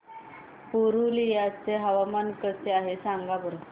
पुरुलिया चे हवामान कसे आहे सांगा बरं